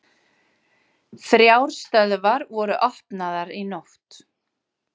Þrjár stöðvar voru opnaðar í nótt